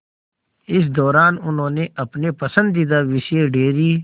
इस दौरान उन्होंने अपने पसंदीदा विषय डेयरी